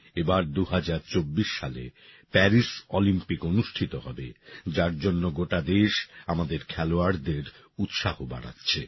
এবার ২০২৪ সালে Paris Olympic অনুষ্ঠিত হবে যার জন্য গোটা দেশ আমাদের খেলোয়াড়দের উৎসাহ বাড়াচ্ছে